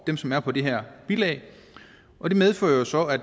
dem som er på det her bilag og det medfører jo så at